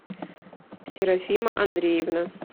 серафима андреевна